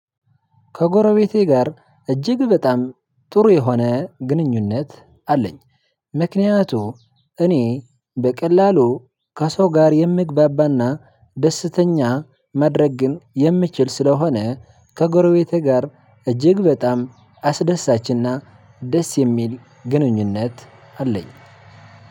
ከጎረቤቴ ጋር እጅግ በጣም ጥሩ የሆነ ግንኙነት አለኝ። ምክንያቱ እኔ በቀላሉ ከሰው ጋር የምግባባና ደስተኛ መድረግን የምችል ስለሆነ። ከጎረቤቴ ጋር እጅግ በጣም አስደሳችና ደስ የሚል ግንኙነት አለኝ።